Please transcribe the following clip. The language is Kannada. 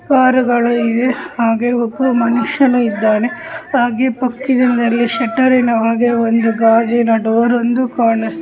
ಪಾರಿವಾಳ ಇದೆ ಹಾಗೆ ಮನುಷ್ಯ ಕೂಡ ಇದೆ ಕಾಗೆ ಪಕ್ಷಿಗಳಿಗೆ ಶಟರ್ ಇದೆ ಹಾಗೆ ಗಾಜಿನ ಡೋರನ್ನು ಸಹ ಕಾಣ್ತ--